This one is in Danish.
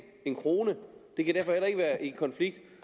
en krone og det kan derfor heller ikke være i konflikt